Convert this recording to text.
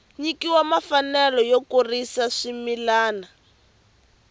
nyikiwa mfanelo yo kurisa swimila